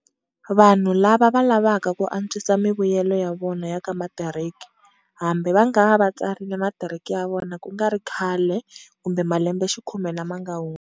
Vanhu lava va lavaka ku antswisa mivuyelo ya vona ya ka matiriki, hambi va nga va va tsarile matiriki ya vona kungari khale kumbe malembexikhume lama nga hundza.